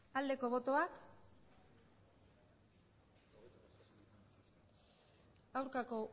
aldeko botoak aurkako